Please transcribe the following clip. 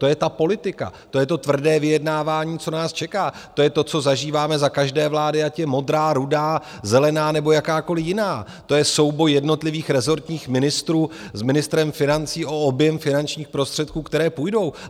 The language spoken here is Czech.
To je ta politika, to je to tvrdé vyjednávání, co nás čeká, to je to, co zažíváme za každé vlády, ať je modrá, rudá, zelená nebo jakákoliv jiná, to je souboj jednotlivých rezortních ministrů s ministrem financí o objem finančních prostředků, které půjdou.